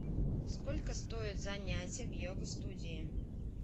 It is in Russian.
сколько стоит занятие в йога студии